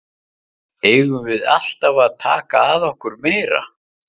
Eigum við alltaf að taka að okkur meira?